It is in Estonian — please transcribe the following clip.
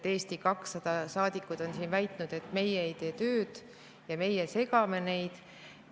Eesti 200 saadikud on väitnud, et meie ei tee tööd ja meie segame neid.